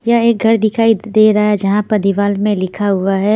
यह एक घर दिखाई दे रहा है जहां पर दीवार में लिखा हुआ है--